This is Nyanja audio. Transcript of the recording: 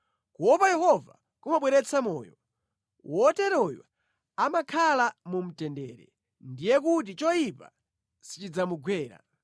Kuopa Yehova kumabweretsa moyo; wotereyo amakhala mu mtendere; ndiye kuti choyipa sichidzamugwera.